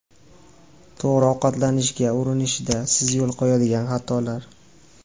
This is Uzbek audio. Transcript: To‘g‘ri ovqatlanishga urinishda siz yo‘l qo‘yadigan xatolar.